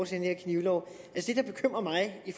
til den her knivlov det der bekymrer mig i